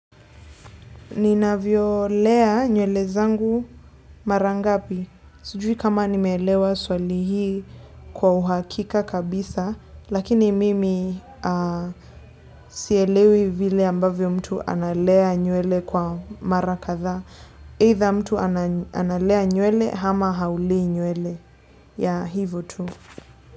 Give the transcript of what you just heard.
Ninavyolea nywele zangu mara ngapi. Sijui kama nimeelewa swali hii kwa uhakika kabisa, lakini mimi sielewi vile ambavyo mtu analea nywele kwa mara kadhaa. Either mtu analea nywele hama haulei nywele, yah, hivyo tu.